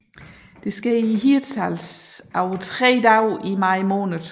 Det sker i Hirtshals over tre dage i maj måned